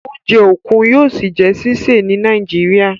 Oúnjẹ okun yóò sí jé ṣiṣẹ ní Nàìjíríà.